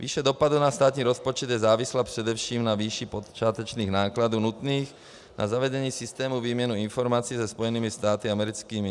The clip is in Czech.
Výše dopadu na státní rozpočet je závislá především na výši počátečních nákladů nutných na zavedení systému výměny informací se Spojenými státy americkými.